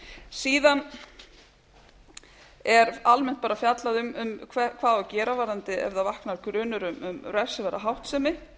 síðan er almennt bara fjallað um hvað á að gera varðandi ef það vaknar grunur um refsiverða háttsemi